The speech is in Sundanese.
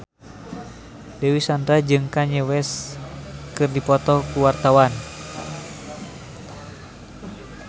Dewi Sandra jeung Kanye West keur dipoto ku wartawan